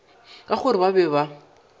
ka gore ba be ba